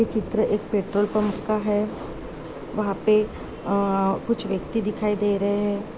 ये चित्र एक पेट्रोल पंप का है वहाँ पे अ-- कुछ व्यक्ति दिखाई दे रहे हैं।